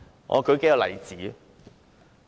我舉數個例子。